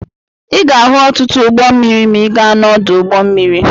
Ị ga-ahụ ọtụtụ ụgbọ mmiri ma ị gaa n'ọdụ ụgbọ mmiri.